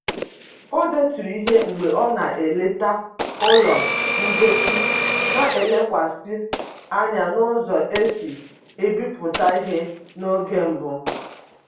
O deturu ihe mgbe ọ na-eleta ụlọ ngosi na-elekwasị anya n'ụzọ e si ebipụta ihe n'oge mbụ